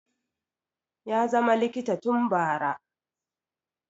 ya zama likita tun bara